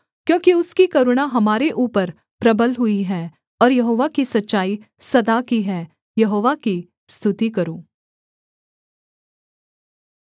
क्योंकि उसकी करुणा हमारे ऊपर प्रबल हुई है और यहोवा की सच्चाई सदा की है यहोवा की स्तुति करो